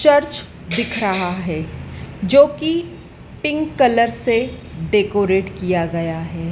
Church दिख रहा है जो कि पिंक कलर से डेकोरेट किया गया है।